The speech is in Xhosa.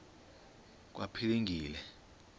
kwaphilingile